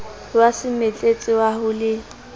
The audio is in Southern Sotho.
wa semetletsa wa ho le